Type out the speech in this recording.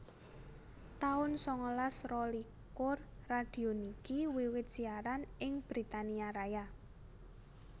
taun sangalas rolikur Radio niki wiwit siaran ing Britania Raya